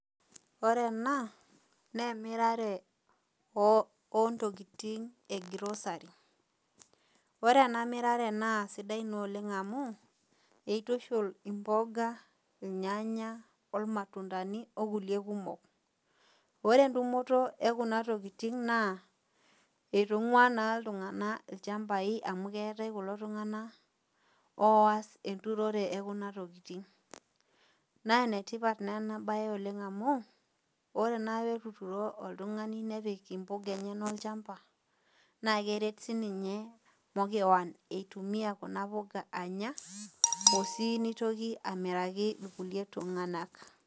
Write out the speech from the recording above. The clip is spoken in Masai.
Ore ena naa emirare oontokitin e grocery. Ore ena mirare naa sidai naa oleng' amu eitushol imboga, ilnyanya, olmatundani okulie kumok. Ore entumoto ekuna tokitin naa eitungua naa iltunganak ilchambai amu keetai kulo tunganak oas enturore ekuna tokitin. Naa enetipat naa ena oleng' amu, ore naake etuturo oltungani nepik imbuka enyanak olchamba naa keret sininye makewon eitumiya kuna puka anya osii eitoki amiraki kulie tunganak.